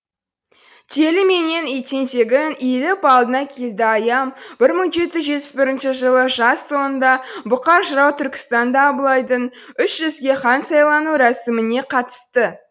телі менен тентегің иіліп алдыңа келді аям бір мың жеті жүз жетпіс бесінші жылы жаз соңында бұқар жырау түркістанда абылайдың үш жүзге хан сайлану рәсіміне қатысты